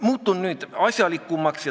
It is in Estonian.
Muutun nüüd asjalikumaks.